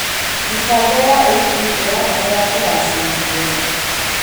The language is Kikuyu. Mĩbango ya ũkuui ĩrabatara kũgacĩrithio.